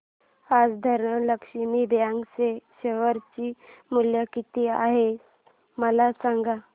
आज धनलक्ष्मी बँक चे शेअर चे मूल्य किती आहे मला सांगा